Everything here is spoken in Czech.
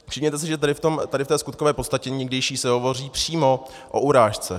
Všimněte si, že tady v té skutkové podstatě někdejší se hovoří přímo o urážce.